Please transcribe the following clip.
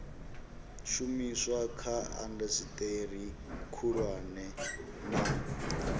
shumiswa kha indasiteri khulwane na